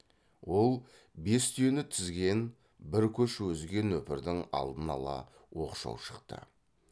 ол бес түйені тізген бір көш өзге нөпірдің алдын ала оқшау шықты